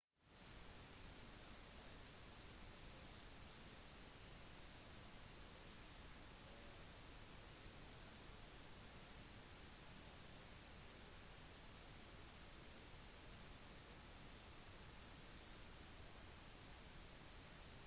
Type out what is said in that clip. słania flyttet til sverige i 1956 hvor han tre år senere begynte å jobbe for det svenske postvesenet og ble deres sjefsgravør